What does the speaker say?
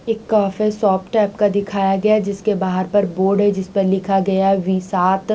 एक तो ऐसे शॉप टाइप का दिखाया गया जिसके बहार पर बोर्ड है जिस पर लिखा हुआ है की वी साथ--